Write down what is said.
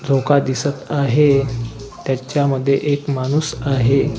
चौकात दिसत आहे त्याच्यामध्ये एक माणूस आहे.